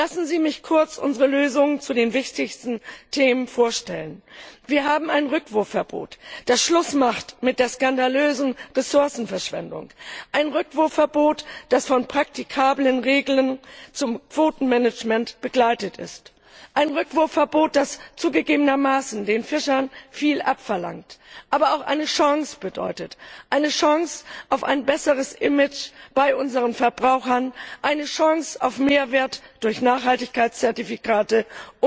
Lassen Sie mich kurz unsere Lösungen zu den wichtigsten Themen vorstellen Wir haben ein Rückwurfverbot, das Schluss macht mit der skandalösen Ressourcenverschwendung, ein Rückwurfverbot, das von praktikablen Regeln zum Quotenmanagement begleitet ist, ein Rückwurfverbot, das zugegebenermaßen den Fischern viel abverlangt, aber auch eine Chance bedeutet, eine Chance auf ein besseres Image bei unseren Verbrauchern, eine Chance auf Mehrwert durch Nachhaltigkeitszertifikate usw.